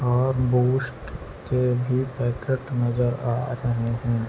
और बूस्ट के भी पैकेट नज़र आ रहे है।